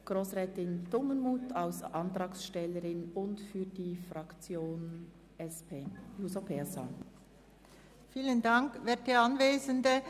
Grossrätin Dumermuth spricht als Antragstellerin und zugleich für die SP-JUSO-PSA-Fraktion.